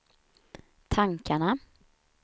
tankarna